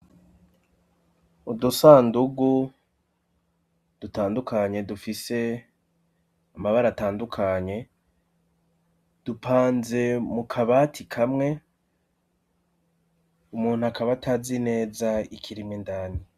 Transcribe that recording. Udusandugu dutandukanye dufise amabara atandukanye, dupanze mu kabati kamwe, umuntu akaba atazi neza ikirimwo indani.